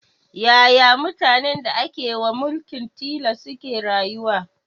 Yaya mutanen da ake wa mulkin tilas suke rayuwa